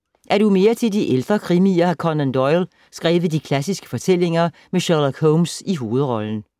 Er du mere til de ældre krimier har Conan Doyle skrevet de klassiske fortællinger med Sherlock Holmes i hovedrollen.